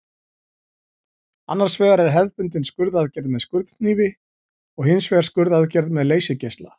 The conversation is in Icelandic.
Annars vegar er hefðbundin skurðaðgerð með skurðhnífi og hins vegar skurðaðgerð með leysigeisla.